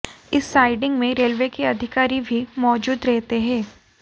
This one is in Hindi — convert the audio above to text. इस साइडिंग में रेलवे के अधिकारी भी मौजूद रहते हैं